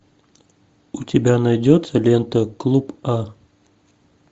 у тебя найдется лента клуб а